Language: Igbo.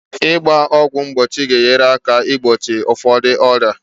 Ịgba ọgwụ mgbochi ga-enyere aka igbochi ụfọdụ ọrịa